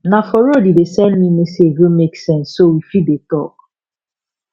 na for road e dey send me message wey make sense so we fit dey talk